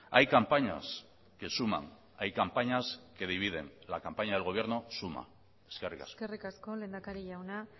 hay campañas que suman hay campañas que dividen la campaña del gobierno suma eskerrik asko eskerrik asko lehendakari jauna